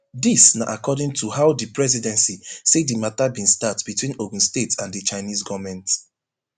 dis na according to how di presidency say di matter bin start between ogun state and di chinese goment